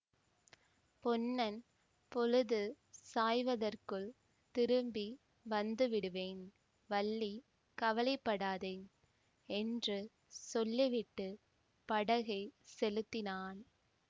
பொன்னன் பொழுது சாய்வதற்குள் திரும்பி வந்துவிடுவேன் வள்ளி கவலை படாதே என்று சொல்லிவிட்டு படகைச் செலுத்தினான்